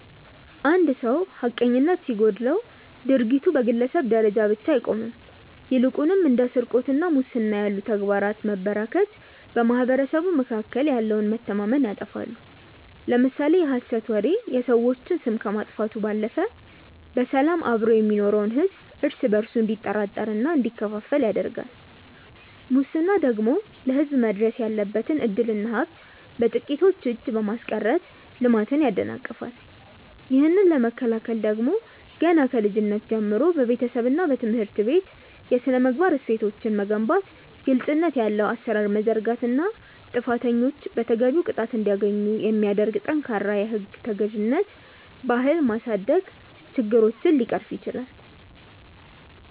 አንድ ሰው ሐቀኝነት ሲጎድለው ድርጊቱ በግለሰብ ደረጃ ብቻ አይቆምም ይልቁንም እንደ ስርቆትና ሙስና ያሉ ተግባራት መበራከት በማኅበረሰቡ መካከል ያለውን መተማመን ያጠፋሉ። ለምሳሌ የሐሰት ወሬ የሰዎችን ስም ከማጥፋቱም ባለፈ በሰላም አብሮ የሚኖረውን ሕዝብ እርስ በእርሱ እንዲጠራጠርና እንዲከፋፈል ያደርጋል ሙስና ደግሞ ለሕዝብ መድረስ ያለበትን ዕድልና ሀብት በጥቂቶች እጅ በማስቀረት ልማትን ያደናቅፋል። ይህንን ለመከላከል ደግሞ ገና ከልጅነት ጀምሮ በቤተሰብና በትምህርት ቤት የሥነ-ምግባር እሴቶችን መገንባት ግልጽነት ያለው አሠራር መዘርጋትና ጥፋተኞች ተገቢውን ቅጣት እንዲያገኙ የሚያደርግ ጠንካራ የሕግ ተገዥነት ባህል ማሳደግ ችግሮችን ሊቀርፍ ይችላል።